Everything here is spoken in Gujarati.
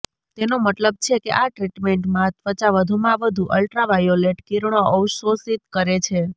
તેનો મતલબ છે કે આ ટ્રીટમેન્ટમાં ત્વચા વધુમાં વધુ અલ્ટ્રાવાયોલેટ કિરણો અવશોષિત કરે છે